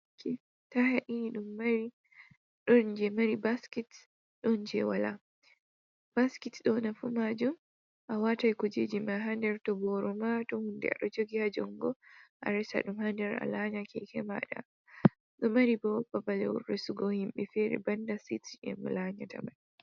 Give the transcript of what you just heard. Keeke taaya ɗiɗi ɗon jey mari baskits ɗon jey walaa, basket ɗo'o nafu maajum a watan kujee ji ma haa ndar to booro ma, to huunde ajogi ha junngo a rasan ɗum haa ndar a laanya keeke maaɗa ɗon mari boo babal resugo himɓe feere banda sit beeko laanyata man.